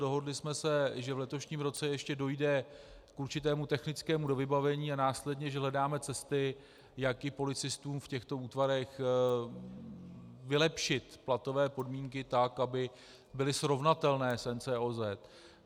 Dohodli jsme se, že v letošním roce ještě dojde k určitému technickému dovybavení a následně že hledáme cesty, jak i policistům v těchto útvarech vylepšit platové podmínky tak, aby byly srovnatelné s NCOZ.